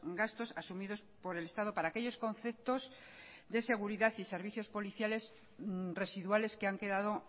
gastos asumidos por el estado para aquellos conceptos de seguridad y servicios policiales residuales que han quedado